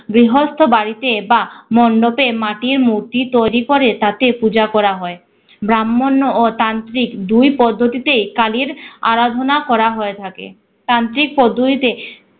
গৃহস্থ বাড়িতে বা মণ্ডপে মাটির মূর্তি তৈরী করে তাতে পূজা করা হয়। ব্রাহ্মণ ও তান্ত্রিক দুই পদ্ধতিতে এই কালির আরাধনা করা হয়ে থাকে। তান্ত্রিক পদ্ধতিতে